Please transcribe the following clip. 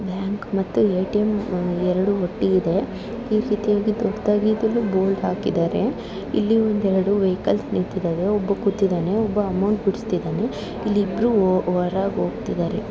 Bank ಮತ್ತು ATM. ಎರಡು ಒಟ್ಟಿಗಿದೆ. ಈ ರೀತಿಯಾಗಿ ದೊಡ್ಡದಾಗಿ ಇದುನು ಬೋರ್ಡ್ ಹಾಕಿದಾರೆ ಇಲ್ಲಿ ಒಂದೆರಡು ವೆಹಿಕಲ್ಸ್ ನಿಂತಿದವೆ. ಒಬ್ಬ ಕೂತಿದನೆ ಒಬ್ಬ ಅಮೌಂಟ್ ಬುಡುಸ್ತಿದನೆ ಇಲ್ಲಿ ಇಬ್ರು ಒ ಒರಗ್ ಓಗ್ತಿದಾರೆ.